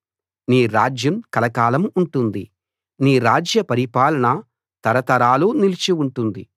నీ రాజ్యం కలకాలం ఉంటుంది నీ రాజ్య పరిపాలన తరతరాలు నిలిచి ఉంటుంది